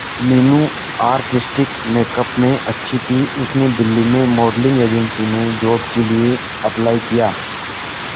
Meenu artistic makeup में अच्छी थी उसने दिल्ली में मॉडलिंग एजेंसी में जॉब के लिए अप्लाई किया